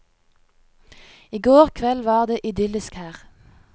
I går kveld var det idyllisk her.